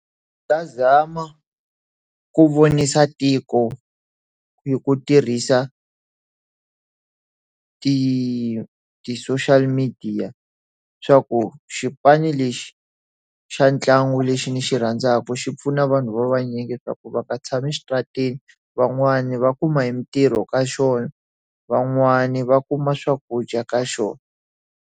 Ta zama ku vonisa tiko ku tirhisa ta ti ti-social media swa ku xipano lexi, xa ntlangu lexi ndzi xi rhandzaka xi pfuna vanhu va vanyingi swa ku va ka tshami xitaratini, van'wani va kuma hi mintirho ka xona, van'wani va kuma swakudya ka xona.